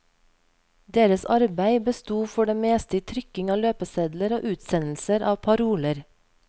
Deres arbeid besto for det meste i trykking av løpesedler og utsendelser av paroler.